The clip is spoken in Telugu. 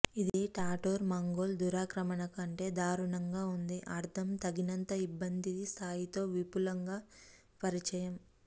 ఇది టాటర్ మంగోల్ దురాక్రమణకు కంటే దారుణంగా ఉంది అర్ధం తగినంత ఇబ్బంది స్థాయి తో విపులంగా పరిచయము